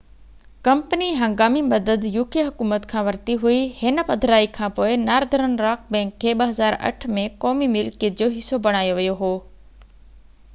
company هنگامي مدد uk حڪومت کان ورتي هئي هن پڌرائي کانپوءِ نارڌرن راڪ بئنڪ کي 2008 ۾ قومي ملڪيت جو حصو بڻايو ويو هو